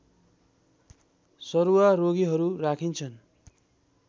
सरुवा रोगीहरू राखिन्छन्